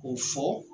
K'o fɔ